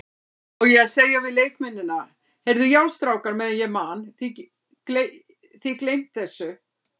Á ég að segja við leikmennina, Heyrðu já strákar meðan ég man, þið gleymt þessu?